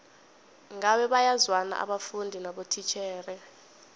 ngabe bayazwana abafundi nabotitjhere